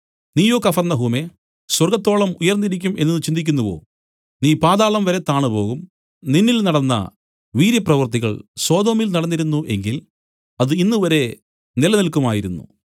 നീയോ കഫർന്നഹൂമേ സ്വർഗ്ഗത്തോളം ഉയർന്നിരിക്കും എന്നുചിന്തിക്കുന്നുവോ നീ പാതാളംവരെ താണുപോകും നിന്നിൽ നടന്ന വീര്യപ്രവൃത്തികൾ സൊദോമിൽ നടന്നിരുന്നു എങ്കിൽ അത് ഇന്നുവരെ നിലനില്ക്കുമായിരുന്നു